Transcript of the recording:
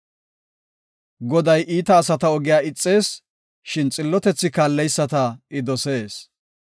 Goday iita asata ogiya ixees; shin xillotethi kaalleyisata I dosees.